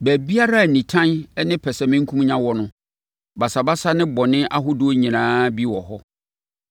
Baabiara a nitan ne pɛsɛmenkomenya wɔ no, basabasa ne bɔne ahodoɔ nyinaa bi wɔ hɔ.